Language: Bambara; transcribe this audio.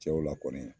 Cɛw la kɔni